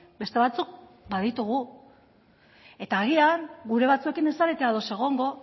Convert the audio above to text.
beste batzuk baditugu eta agian gure batzuekin ez zarete ados egongo